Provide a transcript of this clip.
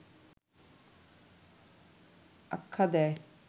আখ্যা দেয়